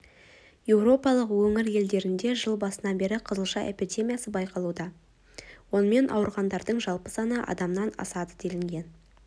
еуропалық өңір елдерінде жыл басынан бері қызылша эпидемиясы байқалуда онымен ауырғандардың жалпы саны адамнан асады делінген